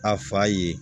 A fa ye